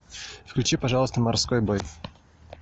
включи пожалуйста морской бой